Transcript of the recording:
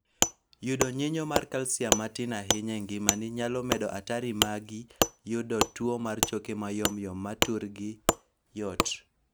Yudo nyinyo mar kalsiam matin ahinya engimani nyalo medo atari magi yudo tuo mar choke mayomyom ma turgi yot